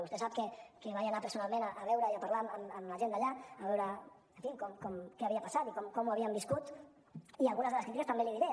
vostè sap que vaig anar personalment a veure i a parlar amb la gent d’allà a veure en fi què havia passat i com ho havien viscut i algunes de les crítiques també les hi diré